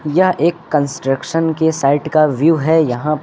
यह एक कंस्ट्रक्शन के साइड का व्यू है यहां--